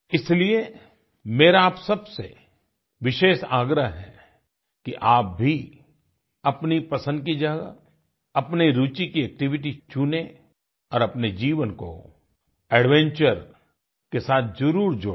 इसलिए मेरा आप सब से विशेष आग्रह है कि आप भी अपनी पसंद की जगह अपनी रूचि की एक्टिविटी चुनें और अपने जीवन को एडवेंचर के साथ जरूर जोड़ें